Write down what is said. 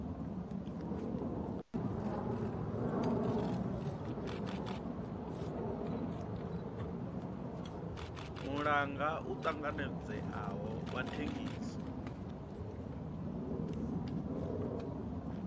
muhanga u tanganedzeaho wa thengiso